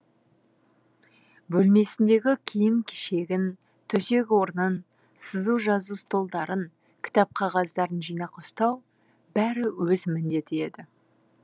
бөлмесіндегі киім кешегін төсек орнын сызу жазу столдарын кітап қағаздарын жинақы ұстау бәрі өз міндеті еді